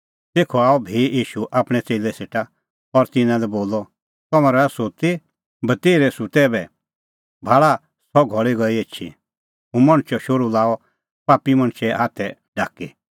तेखअ आअ भी ईशू आपणैं च़ेल्लै सेटा और तिन्नां लै बोलअ तम्हैं रहा सुत्ती बतेर्है सुत्तै ऐबै भाल़ा सह घल़ी गई एछी हुंह मणछो शोहरू लाअ पापी मणछे हाथै ढाकी